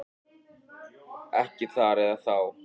Ekki þar eða þá.